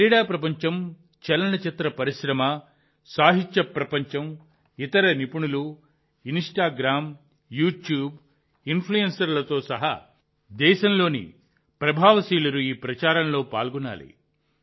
క్రీడా ప్రపంచం చలనచిత్ర పరిశ్రమ సాహిత్య ప్రపంచం ఇతర నిపుణులు ఇన్స్టాగ్రామ్ యూట్యూబ్ ఇన్ఫ్లుయెన్సర్లతో సహా దేశంలోని ప్రభావశీలురు ఈ ప్రచారంలో పాల్గొనాలి